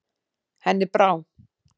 Henni brá.